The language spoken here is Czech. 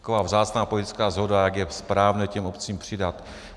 Taková vzácná politická shoda, jak je správné těm obcím přidat.